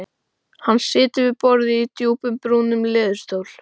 Hann situr við borðið í djúpum brúnum leðurstól.